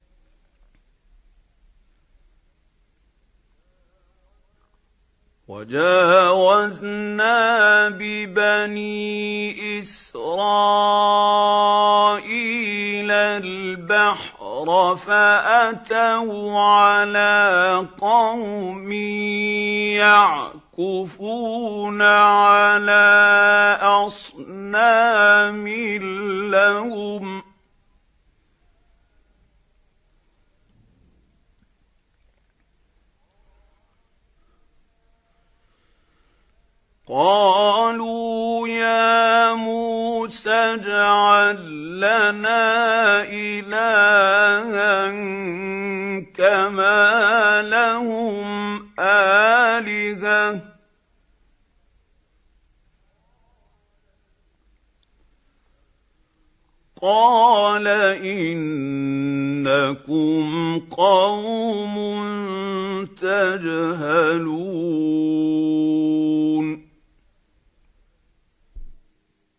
وَجَاوَزْنَا بِبَنِي إِسْرَائِيلَ الْبَحْرَ فَأَتَوْا عَلَىٰ قَوْمٍ يَعْكُفُونَ عَلَىٰ أَصْنَامٍ لَّهُمْ ۚ قَالُوا يَا مُوسَى اجْعَل لَّنَا إِلَٰهًا كَمَا لَهُمْ آلِهَةٌ ۚ قَالَ إِنَّكُمْ قَوْمٌ تَجْهَلُونَ